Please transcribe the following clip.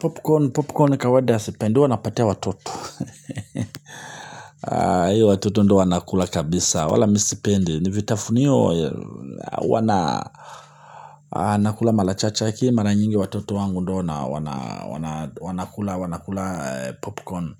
Popcorn, popcorn ni kawada sipendi, hua napatia watoto. Hiyo watoto ndio wanakula kabisa, wala mi sipendi, ni vitafunio. Wanakula mara chache si mara nyingi watoto wangu ndo wanakula popcorn